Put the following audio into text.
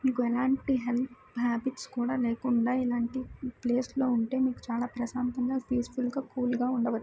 మీకు ఎలాంటి health habits కూడా లేకుండా ఇలాంటి ప్లేస్ లో ఉంటే మీకు చాల ప్రశాంతంగా పిసుఫుల్ గా కూల్ గా ఉండవచ్చు .